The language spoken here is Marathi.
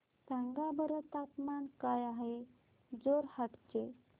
सांगा बरं तापमान काय आहे जोरहाट चे